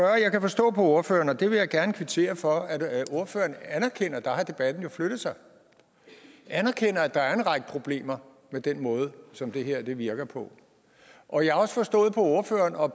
jeg kan forstå på ordføreren og det vil jeg gerne kvittere for at ordføreren anerkender og der har debatten jo flyttet sig at der er en række problemer med den måde som det her virker på og jeg har også forstået på ordføreren og